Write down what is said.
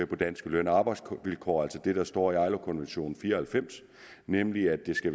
på danske løn og arbejdsvilkår altså det der står i ilo konventionen nummer fire og halvfems nemlig at det skal